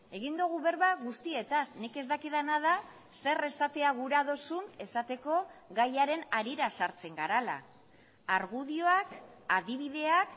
egin dugu berba guztietaz nik ez dakidana da zer esatea gura duzun esateko gaiaren harira sartzen garela argudioak adibideak